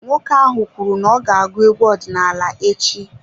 Nwoke ahụ kwuru n'ọga agụ egwu ọdinaala echi.